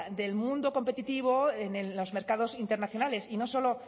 del mundo competitivo en los mercados internacionales y no solo